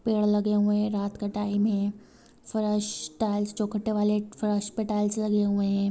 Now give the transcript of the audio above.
पेड़ लगे हुए है रात का टाइम है फरस टाइल्स चोख्ठे वाले फरस पे टाइल्स लगे हुए है।